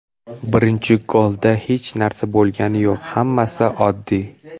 Birinchi golda hech narsa bo‘lgani yo‘q, hammasi oddiy.